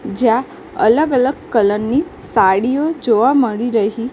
જ્યા અલગ અલગ કલર ની સાડિયો જોવા મળી રહી--